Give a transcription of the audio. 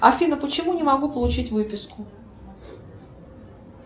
афина почему не могу получить выписку